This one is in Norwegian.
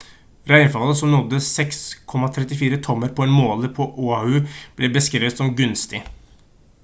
regnfallet som nådde 6,34 tommer på en måler på oahu ble beskrevet som «gunstig»